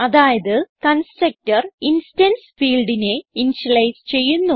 അതായത് constructor instance fieldനെ initialise ചെയ്യുന്നു